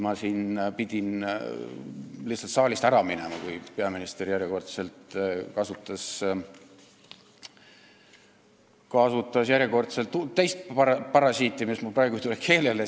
Ma pidin saalist ära minema, kui peaminister kasutas järjekordselt teist parasiitsõna, mis mul praegu ei tule keelele.